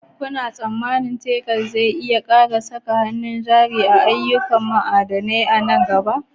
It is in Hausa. Kuna tsammanin Texas zai iya ƙara saka hannun jari a ayyukan ma'adanai nan gaba?